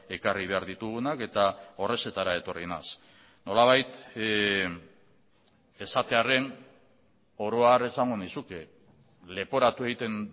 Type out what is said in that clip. ekarri behar ditugunak eta horrexetara etorri naiz nolabait esatearren oro har esango nizuke leporatu egiten